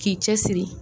K'i cɛ siri